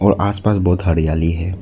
और आसमान बहुत हरियाली है।